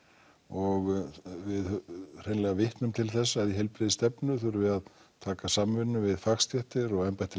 og við hreinlega vitnum til þess að í heilbrigðisstefnu þurfi að taka samvinnu við fagstéttir og embætti